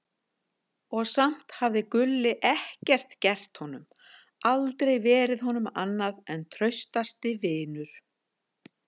Og samt hafði Gulli ekkert gert honum, aldrei verið honum annað en traustasti vinur.